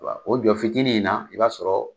O jɔ fitiinin in na i b'a sɔrɔ